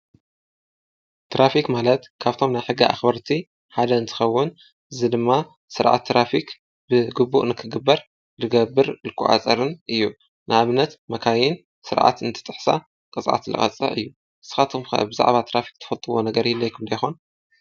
ትራፊክ ማለት ካብቶም ናይ ሕጊ ኣክበርቲ ሐደ እንትኸዉን እዚ ድማ ስርዓት ትራፊክ ብግቡእ ንክገበር ዝገብርን ዝቆፃፀርን እዩ። ንኣብነት መካይን ስርዓት እንትጥሕሳ ቅፅዓት ዝቐፅኦ እዩ። ንስካትኩም ከ ብዛዕባ ትራፊክ ትፈልጥዎ ነገር ይህልወኩም ዶ ይኾን?